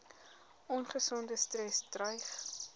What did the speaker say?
ongesonde stres dreig